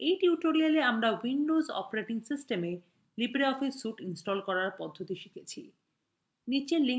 in tutorial আমরা windows operating সিস্টেমwe libreoffice suite install করার পদ্ধতি শিখেছি